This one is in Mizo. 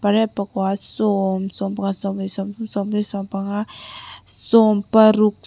pariat pakua sawm sawmpakhat sawmpahnih sawmpanga sawmparuk.